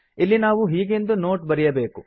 ಇಲ್ಲಿ ನಾವು ಹೀಗೆಂದು ನೋಟ್ ಬರೆಯಬೇಕು